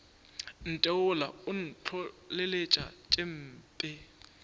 ntheola o ntlholeletša tše mpe